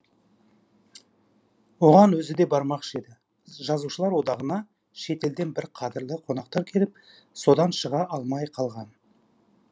оған өзі де бармақшы еді жазушылар одағына шетелден бір қадірлі қонақтар келіп содан шыға алмай қалған